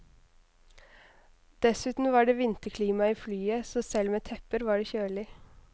Dessuten var det vinterklima i flyet, så selv med tepper var det kjølig.